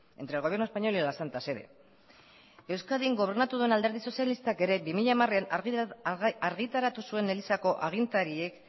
entre el gobierno español y la santa sede euskadin gobernatu duen alderdi sozialistak ere bi mila hamaran argitaratu zuen elizako agintariek